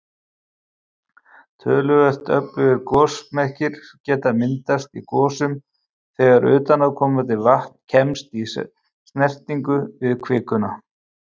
Töluvert öflugir gosmekkir geta myndast í gosum þegar utanaðkomandi vatn kemst í snertingu við kvikuna.